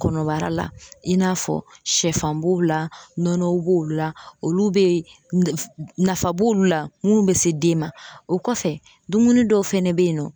Kɔnɔbara la i n'a fɔ shɛfan b'o la nɔnɔw b'o la olu bɛ ye nafa b'olu la munnu bɛ se den ma o kɔfɛ dumuni dɔw fana bɛ yen nɔ.